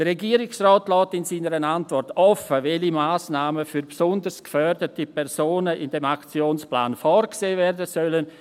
Der Regierungsrat lässt in seiner Antwort offen, welche Massnahmen für besonders gefährdete Personen in diesem Aktionsplan vorgesehen werden sollen.